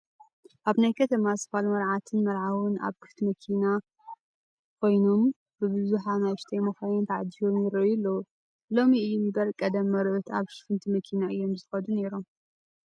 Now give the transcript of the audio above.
ኣብ ናይ ከተማ ስፋል መርዓትን መርዓውን ኣብ ክፍቲ መኪራ ኮይኖም ብብዙሓት ኣናእሽቱ መኻይን ተዓጂቦም ይርአዩ ኣለዉ፡፡ ሎሚ እዩ እምበር ቀደም መርዑት ኣብ ሽፍንቲ መኪና እዮም ይኸዱ ነይሮም፡፡